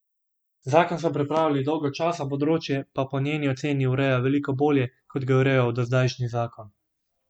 Zakon so pripravljali dolgo časa, področje pa po njeni oceni ureja veliko bolje, kot ga je urejal dozdajšnji zakon.